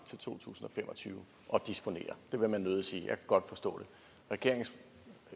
til to tusind og fem og tyve at disponere det vil man nødig sige og kan godt forstå det regeringens